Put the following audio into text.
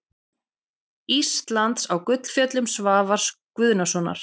Íslands á Gullfjöllum Svavars Guðnasonar.